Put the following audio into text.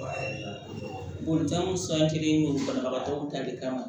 Bolitaw san kelen don banabagatɔw ta de kama